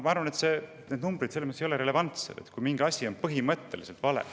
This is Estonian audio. Ma arvan, et need numbrid ei ole relevantsed, kui, mis põhimõtteliselt on vale.